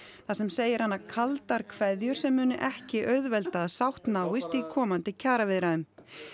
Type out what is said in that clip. þar sem segir hana kaldar kveðjur sem muni ekki auðvelda að sátt náist í komandi kjaraviðræðum